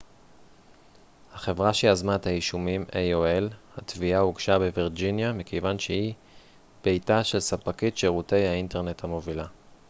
התביעה הוגשה בווירג'יניה מכיוון שהיא ביתה של ספקית שירותי האינטרנט המובילה aol החברה שיזמה את האישומים